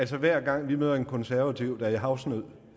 hver gang vi møder en konservativ der er i havsnød